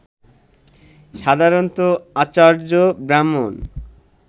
সাধারণত আচার্য-ব্রাহ্মণ